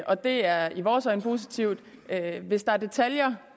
og det er i vores øjne positivt hvis der er detaljer